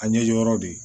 A ɲɛjɔ yɔrɔ de